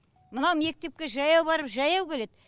мынау мектепке жаяу барып жаяу келеді